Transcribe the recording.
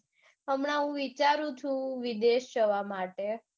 હમણાં હું વિચારું છું વિદેશ જવા માટે.